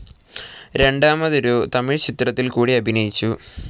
രണ്ടാമതൊരു തമിഴ്ചിത്രത്തിൽ കൂടി അഭിനയിച്ചു.